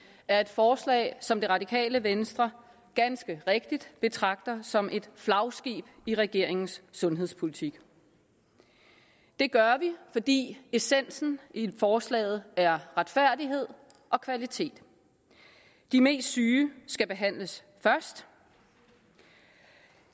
er et forslag som det radikale venstre ganske rigtigt betragter som et flagskib i regeringens sundhedspolitik det gør vi fordi essensen i forslaget er retfærdighed og kvalitet de mest syge skal behandles først